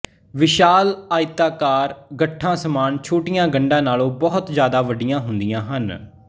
ਵਿਸ਼ਾਲ ਆਇਤਾਕਾਰ ਗੱਠਾਂ ਸਮਾਨ ਛੋਟੀਆਂ ਗੰਢਾਂ ਨਾਲੋਂ ਬਹੁਤ ਜ਼ਿਆਦਾ ਵੱਡੀਆਂ ਹੁੰਦੀਆਂ ਹਨ